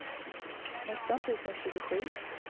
nitton tusen tjugosju